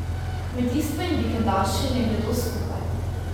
Kmetijstvo in vikendaši ne gredo skupaj.